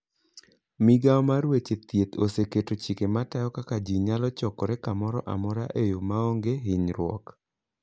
Migawo mar weche thieth oseketo chike matayo kaka ji nyalo chokore kamoro amora e yo ma onge hinyruok.